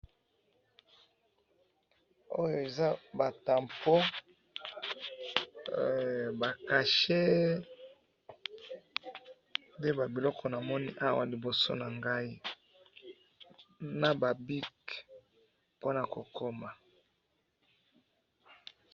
oyo eza ba tampon ba cachet nde biloko namoni na liboso na ngayi na ba bic pona ko koma